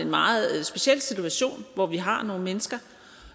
en meget speciel situation hvor vi har nogle mennesker